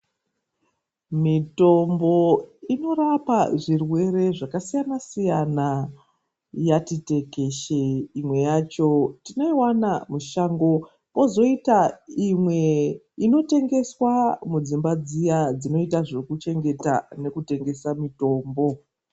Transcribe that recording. Mitombo inorapa zvirwere zvakasiyanasiyana yati tekeshe imwe yacho tinoiwana mushango kwozoita imwe inotengeswa mudzimba dziya dzinoita zvekuchengeta nekutengesa mitombo.